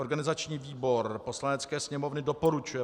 Organizační výbor Poslanecké sněmovny doporučuje